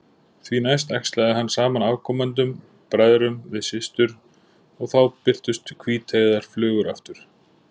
Því næst æxlaði hann saman afkomendunum, bræðrum við systur, og þá birtust hvíteygðar flugur aftur.